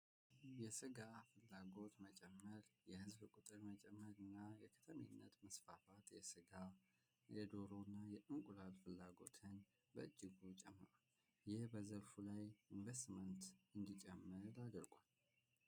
የሥጋ ፍላጎት መጨመር የሕዝብ ቁጥር መጨመር እና የከተሜነት ምስፋፋት የሥጋ የዶሩ እና የእንቁላል ፍላጎትን በእጅጎ ይጨምራል። ይህ በዘርፉ ላይ ኢንቨስትመንት እንዲጨምእ ያደርገዋል።